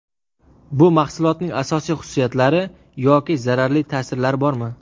Bu mahsulotning asosiy xususiyatlari yoki zararli ta’sirlari bormi?